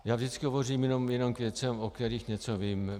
Já vždycky hovořím jenom k věcem, o kterých něco vím.